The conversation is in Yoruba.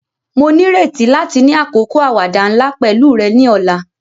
Mo nírètí láti ni àkókò àwàdà nla pẹ̀lu rẹ ni ọ̀la.